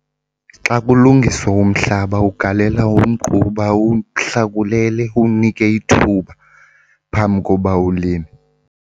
Xa kulungiswa umhlaba ugalela umgquba uwuhlakulele, uwunike ithuba phambi koba ulime.